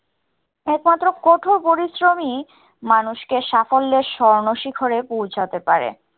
একমাত্র কঠোর পরিশ্রমই মানুষকে সাফল্যের স্বর্ণ শিখরে পৌছাতে পারে।